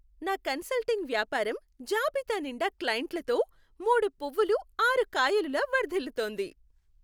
నా కన్సల్టింగ్ వ్యాపారం జాబితా నిండా క్లైంట్లతో మూడు పువ్వులు ఆరు కాయలులా వర్ధిల్లుతోంది.